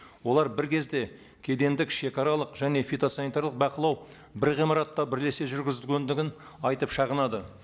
олар бір кезде кедендік шегаралық және фитосанитариялық бақылау бір ғимаратта бірлесе жүргізгендігін айтып шағынады